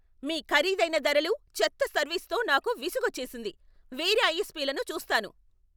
మీ ఖరీదైన ధరలు, చెత్త సర్వీస్తో నాకు విసుగొచ్చేసింది, వేరే ఐఎస్పీలను చూస్తాను.